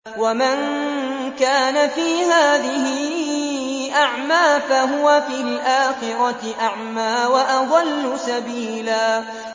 وَمَن كَانَ فِي هَٰذِهِ أَعْمَىٰ فَهُوَ فِي الْآخِرَةِ أَعْمَىٰ وَأَضَلُّ سَبِيلًا